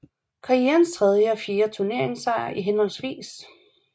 Karrièrens tredje og fjerde turneringssejre i hhv